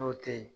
N'o tɛ ye